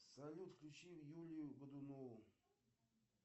салют включи юлию годунову